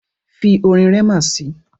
Fi orin Rema si!